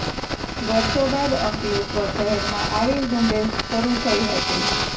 વર્ષો બાદ અંકલેશ્વર શહેરમાં આવી ઝુંબેશ શરૃ થઇ હતી